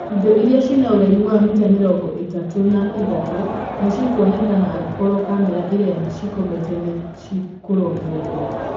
Indo irĩa cina ũraihu wa mita mĩrongo ĩtataũna ĩthatũ, nĩcikwonekana angĩkorwo kamera iria cikomete nĩ cikũrongoreria.